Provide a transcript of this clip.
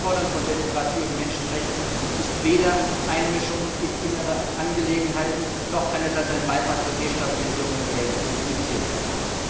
Das Einfordern von Demokratie und Menschenrechten ist weder Einmischung in innere Angelegenheiten, noch kann es als ein Beitrag zur Destabilisierung der Verhältnisse denunziert werden.